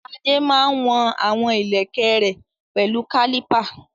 Adé máa ń wọ̀n àwọn ìlẹ̀kẹ̀ rẹ̀ pẹ̀lú kálípà